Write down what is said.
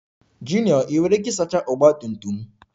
Junior Ị nwere ike isacha Ọgba tum tum m?